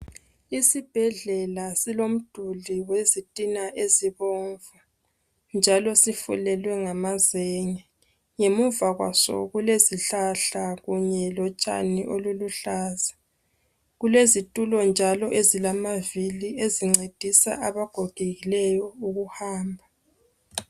Isibhedlela silomduli wezitina ezibomvu njalo sifulelwe ngamazenge ngemuva kwaso kulesihlahla kunye lotshani oluluhlaza kulezitulo njalo ezilamavili ezincedisa abagogekileyo ukuhamba.